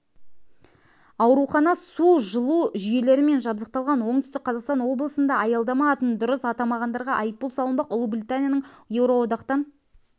аурухана су жылу жүйелерімен жабдықталған оңтүстік қазақстан облысында аялдама атын дұрыс атамағандарға айыппұл салынбақ ұлыбританияның еуроодақтан